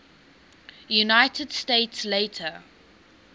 united states later